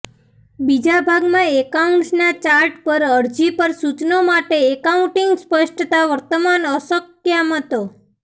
બીજા ભાગમાં એકાઉન્ટ્સ ના ચાર્ટ પર અરજી પર સૂચનો માટે એકાઉન્ટિંગ સ્પષ્ટતા વર્તમાન અસ્કયામતો